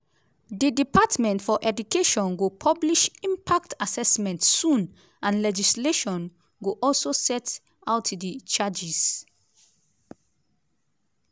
di department for education go publish impact assessment soon and legislation go also set out di changes.